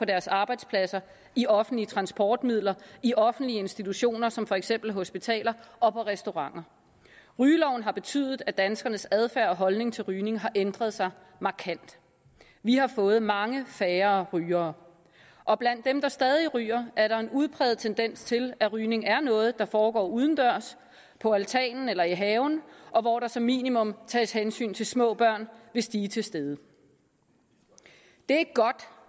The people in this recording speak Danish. deres arbejdspladser i offentlige transportmidler i offentlige institutioner som for eksempel hospitaler og på restauranter rygeloven har betydet at danskernes adfærd og holdning til rygning har ændret sig markant vi har fået meget færre rygere og blandt dem der stadig ryger er der en udpræget tendens til at rygning er noget der foregår udendørs på altanen eller i haven og hvor der som minimum tages hensyn til små børn hvis de er til stede det